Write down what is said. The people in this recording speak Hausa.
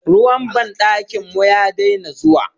Ruwan banɗakin mu ya daina zuwa.